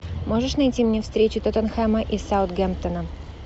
можешь найти мне встречу тоттенхэма и саутгемптона